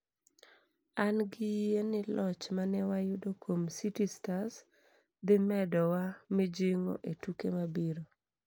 angi yie ni loch mane wayudo kuom city Stars dhi medo wa mijingo etuke mabiro